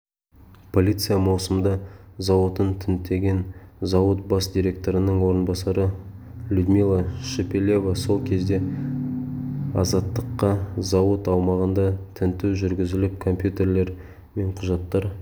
полиция маусымда зауытын тінтіген зауыт бас директорының орынбасары людмила шепелева сол кезде азаттыққа зауыт аумағында тінту жүргізіліп компьютерлер мен құжаттар